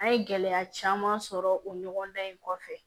An ye gɛlɛya caman sɔrɔ o ɲɔgɔndan in kɔfɛ